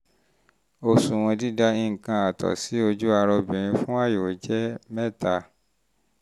òṣùwọ̀n dídà nǹkan àtọ̀ sí ojú ara obìnrin fún àyẹ̀wò jẹ́ 3